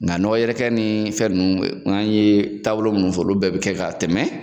Nga nɔgɔ yɛrɛkɛ ni fɛn nunnu an ye taabolo munnu fɔ olu bɛɛ be kɛ ka tɛmɛ